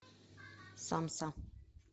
самса